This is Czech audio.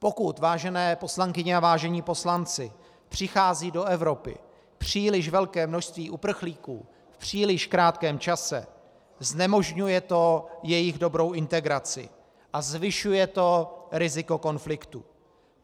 Pokud, vážené poslankyně a vážení poslanci, přichází do Evropy příliš velké množství uprchlíků v příliš krátkém čase, znemožňuje to jejich dobrou integraci a zvyšuje to riziko konfliktu.